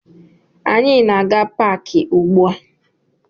Anyị na-aga paakị ugbua